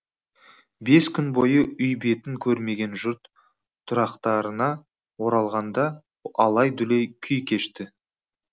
бес күн бойы үй бетін көрмеген жұрт тұрақтарына оралғанда алай дүлей күй кешті